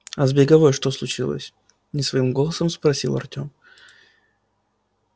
а с беговой что случилось не своим голосом спросил артём